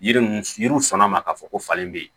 Yiri mun yiriw sɔnna ma k'a fɔ ko falen bɛ yen